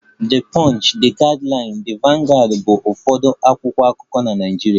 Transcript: The punch, The Guardian, The vanguard bụ ụfọdụ akwụkwọ akụkọ na Nigeria